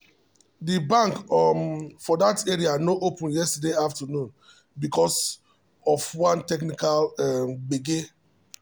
the bank um for that area no open yesterday afternoon because of one technical um gbege.